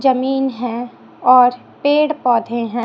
जमीन हैं और पेड़ पौधे हैं।